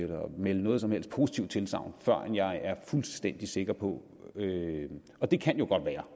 melde noget som helst positivt tilsagn før jeg er fuldstændig sikker på det og det kan jo godt være